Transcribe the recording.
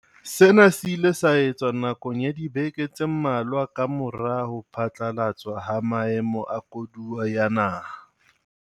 Sena se ile sa etsuwa nakong ya dibeke tse mmalwa kamora ho phatlalatswa ha maemo a koduwa ya naha.